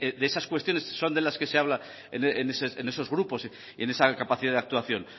de esas cuestiones son de las que se habla en esos grupos y en esa capacidad de actuación